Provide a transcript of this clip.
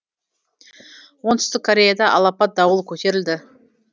оңтүстік кореяда алапат дауыл көтерілді